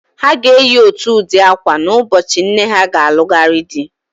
Ha ga-eyi ótù ụdị ákwà n'ụbọchị nne ha ga-alụgharị di.